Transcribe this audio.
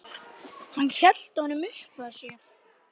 Hann hélt honum uppað sér.